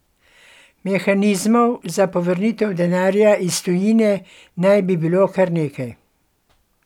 Mehanizmov za povrnitev denarja iz tujine naj bi bilo kar nekaj.